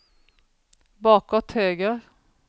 bakåt höger